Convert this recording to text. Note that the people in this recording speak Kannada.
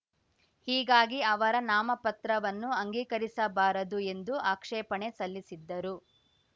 ಹೀಗಾಗಿ ಅವರ ನಾಮಪತ್ರವನ್ನು ಅಂಗೀಕರಿಸಬಾರದು ಎಂದು ಆಕ್ಷೇಪಣೆ ಸಲ್ಲಿಸಿದ್ದರು